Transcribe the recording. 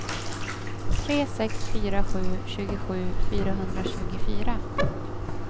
tre sex fyra sju tjugosju fyrahundratjugofyra